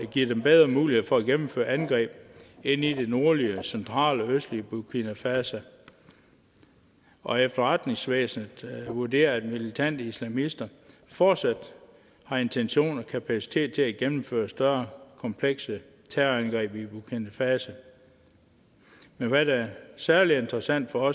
givet dem bedre muligheder for at gennemføre angreb ind i det nordlige centrale og østlige burkina faso og efterretningsvæsenet vurderer at militante islamister fortsat har intention om og kapacitet til at gennemføre større komplekse terrorangreb i burkina faso men hvad der er særlig interessant for